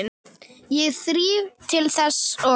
Ég þríf til þess og